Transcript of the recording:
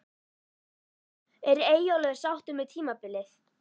Er Eyjólfur sáttur með tímabilið?